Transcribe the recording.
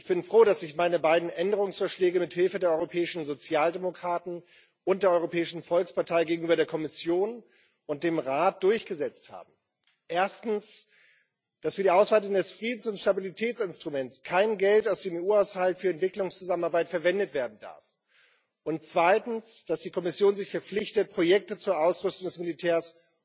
Ich bin froh, dass ich meine beiden Änderungsvorschläge mit Hilfe der europäischen Sozialdemokraten und der Europäischen Volkspartei gegenüber der Kommission und dem Rat durchgesetzt habe erstens dass für die Ausweitung des Friedens und Stabilitätsinstruments kein Geld aus dem EU Haushalt für Entwicklungszusammenarbeit verwendet werden darf, zweitens dass die Kommission sich verpflichtet, Projekte zur Ausrüstung des Militärs